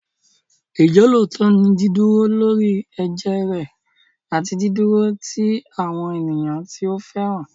Ìjọ́lóòótọ́ ni dídúró lórí ẹ̀jẹ́ rẹ àti dídúró ti àwọn ènìyàn tí o fẹ́ràn.